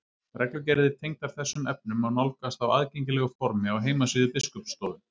reglugerðir tengdar þessum efnum má nálgast á aðgengilegu formi á heimasíðu biskupsstofu